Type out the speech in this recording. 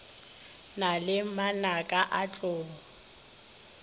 na le manaka a tlou